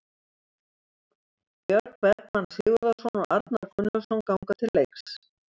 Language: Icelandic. Björn Bergmann Sigurðarson og Arnar Gunnlaugsson ganga til leiks